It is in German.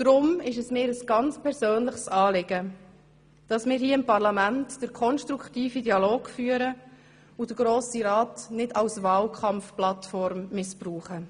Deshalb ist es mir ein ganz persönliches Anliegen, dass wir hier im Parlament den konstruktiven Dialog führen und den Grossen Rat nicht als Wahlkampfplattform missbrauchen.